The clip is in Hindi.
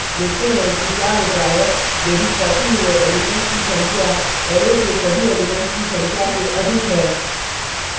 देखते हैं कि क्या होता है यदि copied हुए elements की संख्या array के सभी elements की संख्या से अधिक है